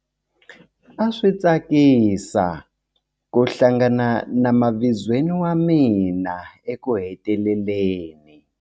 A swi tsakisa ku hlangana na mavizweni wa mina ekuheteleleni.